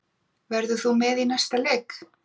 Verður þú með í næsta leik?